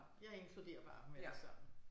Jeg inkluderer bare dem alle sammen